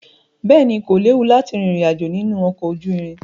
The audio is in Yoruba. Bẹ́ẹ̀ ni, kò léwu láti rìnrìn àjò nínú ọkọ̀ ojú irin.